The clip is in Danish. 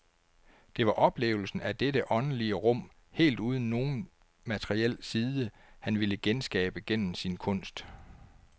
Det var oplevelsen af dette åndelige rum helt uden nogen materiel side, han ville genskabe gennem sin kunst.